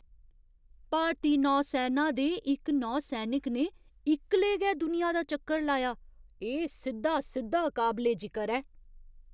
भारती नौसैना दे इक नौसैनिक ने इक्कलै गै दुनिया दा चक्कर लाया। एह् सिद्धा सिद्धा काबले जिकर ऐ!